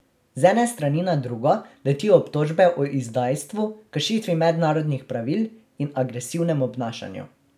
Z ene strani na drugo letijo obtožbe o izdajstvu, kršitvi mednarodnih pravil in agresivnem obnašanju.